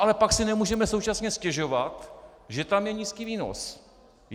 Ale pak si nemůžeme současně stěžovat, že tam je nízký výnos.